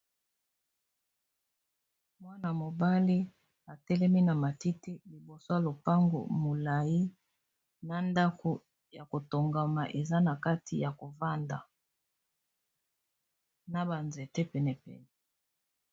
Mwana-mobali atelemi na matiti liboso ya lopango molayi na ndako ya kotongama eza na kati ya kovanda na ba nzete pene pene.